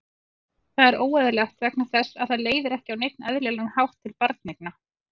Það er óeðlilegt vegna þess að það leiðir ekki á neinn eðlilegan hátt til barneigna.